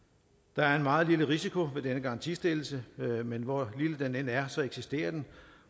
der er en meget lille risiko ved denne garantistillelse men hvor lille den end er eksisterer den